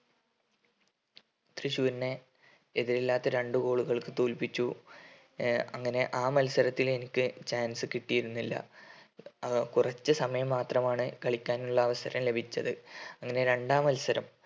തൃശ്ശൂരിനെ എതിരില്ലാത്ത രണ്ട് goal കൾക്ക് തോൽപ്പിച്ചു ഏർ അങ്ങനെ ആ മത്സരത്തിൽ എനിക്ക് chance കിട്ടിയിരുന്നില്ല ആഹ് കുറച്ച് സമയം മാത്രമാണ് കളിക്കാനുള്ള അവസരം ലഭിച്ചത് അങ്ങനെ രണ്ടാം മത്സരം